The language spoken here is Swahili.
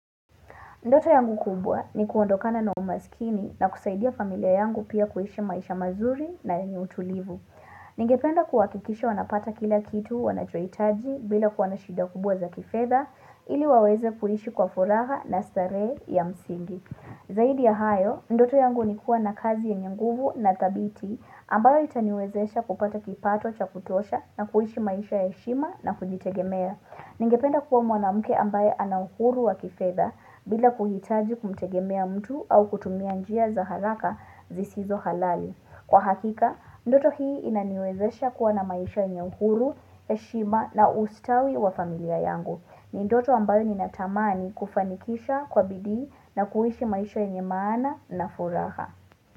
Ndoto yangu kubwa ni kuondokana na umaskini na kusaidia familia yangu pia kuishi maisha mazuri na yenye utulivu. Ningependa kuhakikisha wanapata kila kitu wanachohitaji bila kuwa na shida kubwa za kifedha ili waweze kuishi kwa furaha na starehe ya msingi. Zaidi ya hayo, ndoto yangu ni kuwa na kazi ya yenye nguvu na thabiti ambayo itaniwezesha kupata kipato cha kutosha na kuishi maisha ya heshima na kujitegemea. Ningependa kuwa mwanamke ambaye ana uhuru wa kifedha bila kuhitaji kumtegemea mtu au kutumia njia za haraka zisizo halali. Kwa hakika, ndoto hii inaniwezesha kuwa na maisha yenye uhuru, heshima na ustawi wa familia yangu. Ni ndoto ambayo ninatamani kufanikisha kwa bidii na kuishi maisha yenye maana na furaha.